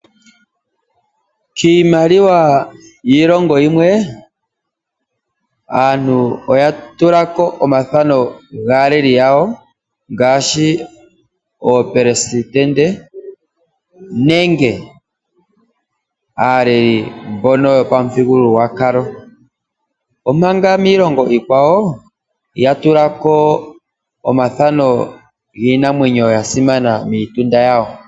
Kiimaliwa yiilongo yimwe, aantu oya tula ko omathano gaaleli yawo ngaashi oopelesitende nenge aaleli mbono yopamuthigululwakalo. Omanga miilongo iikwawo ya tula ko omathano giinamwenyo ya simana miitunda yawo.